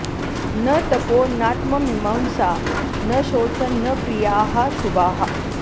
न तपो नात्ममीमांसा न शौचं न क्रियाः शुभाः